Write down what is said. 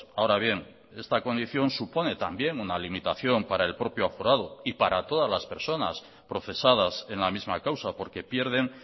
ahora bien esta condición supone también una limitación para el propio aforado y para todas las personas procesadas en la misma causa porque pierden